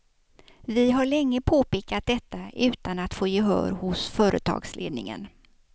Vi har länge påpekat detta utan att få gehör hos företagsledningen.